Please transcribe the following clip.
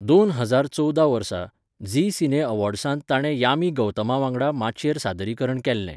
दोन हजार चोवदा वर्सा, झी सिने अॅवॉर्ड्सांत ताणे यामी गौतम वांगडा माचयेर सादरीकरण केल्लें.